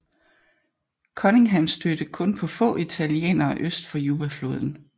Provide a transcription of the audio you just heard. Cunningham stødte kun på få italienere øst for Jubafloden